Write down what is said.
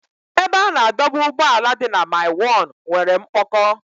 Ebe a na-adọba ụgbọala dị na mile 1 nwere mkpọkọ.